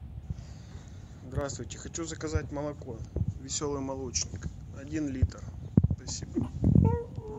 здравствуйте хочу заказать молоко веселый молочник один литр спасибо